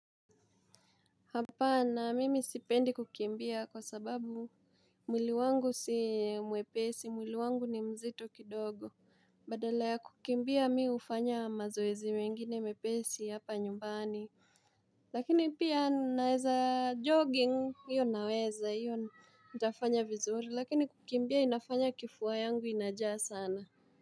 Hapana mimi sipendi kukimbia kwa sababu mwili wangu si mwepesi mwili wangu ni mzito kidogo badala ya kukimbia mimi hufanya mazoezi mengine mepesi hapa nyumbani Lakini pia naweza jogging hiyo naweza hiyo nitafanya vizuri lakini kukimbia inafanya kifua yangu inajaa sana.